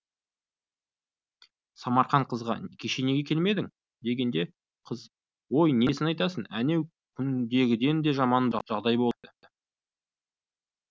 самарқан қызға кеше неге келмедің дегенде қыз ой несін айтасың әнеу күндегіден де жаман жағдай болды деді